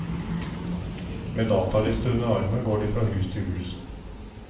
Med dataliste under armen går de fra hus til hus.